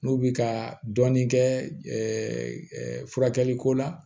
N'u bi ka dɔɔnin kɛ furakɛli ko la